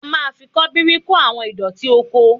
A máa fi ṣọ́bìrì kó àwọn ìdọ̀tí oko